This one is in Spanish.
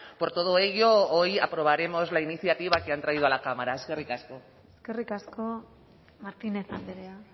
por todo ello hoy aprobaremos la iniciativa que han traído a la cámara eskerrik asko eskerrik asko martínez andrea